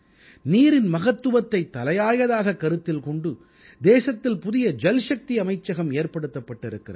நீரின் மகத்துவத்தைத் தலையாயதாக கருத்தில் கொண்டு தேசத்தில் புதிய ஜல்சக்தி அமைச்சகம் ஏற்படுத்தப்பட்டிருக்கிறது